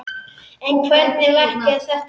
En hvernig verk er þetta?